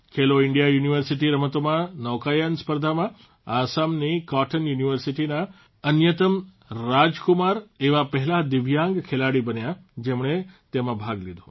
ખેલો India university રમતોમાં નૌકાયન સ્પર્ધામાં આસામની કોટન યુનિવર્સિટીના અન્યતમ રાજકુમાર એવા પહેલાં દિવ્યાંગ ખેલાડી બન્યા જેમણે તેમાં ભાગ લીધો